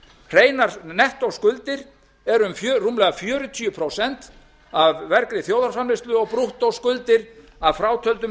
hreinar nettóskuldir eru rúmlega fjörutíu prósent af vergri þjóðarframleiðslu og brúttóskuldir að frátöldum